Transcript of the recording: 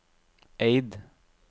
Eid